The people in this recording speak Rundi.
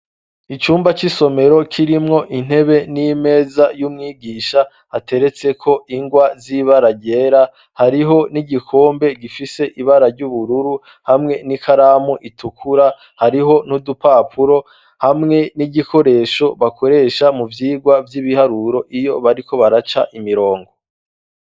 Icumba c'isomero kirimwo intebe n'imeza y'umwigisha ateretseko ingwa z'ibararyera hariho n'igikombe gifise ibara ry'ubururu hamwe n'i karamu itukura hariho n'udupapuro hamwe n'igikoresho bakoresha mu vyirwa vy'ibiharuro iyo bariko baraca imirongo.